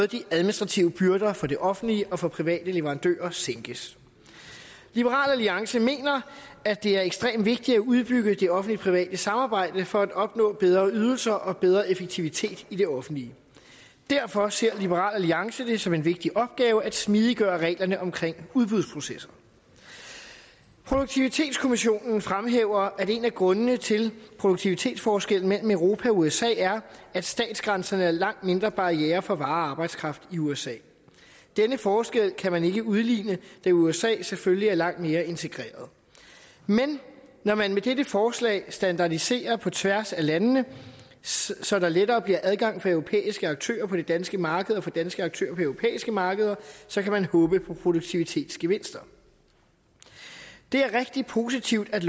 de administrative byrder både for det offentlige og for private leverandører sænkes liberal alliance mener at det er ekstremt vigtigt at udbygge det offentlige private samarbejde for at opnå bedre ydelser og bedre effektivitet i det offentlige derfor ser liberal alliance det som en vigtig opgave at smidiggøre reglerne om udbudsprocesser produktivitetskommissionen fremhæver at en af grundene til produktivitetsforskellen mellem europa og usa er at statsgrænserne er langt mindre barrierer for varer og arbejdskraft i usa denne forskel kan man ikke udligne da usa selvfølgelig er langt mere integreret men når man med dette forslag standardiserer på tværs af landene så der lettere bliver adgang for europæiske aktører på det danske marked og for danske aktører på europæiske markeder så kan man håbe på produktivitetsgevinster det er rigtig positivt at